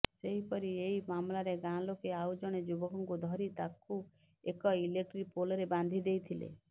ସେହିପରି ଏହି ମାମଲାରେ ଗାଁ ଲୋକେ ଆଉଜଣେ ଯୁବକଙ୍କୁ ଧରି ତାକୁ ଏକ ଇଲେକ୍ଟ୍ରି ପୋଲରେ ବାନ୍ଧି ଦେଇଥିଲେ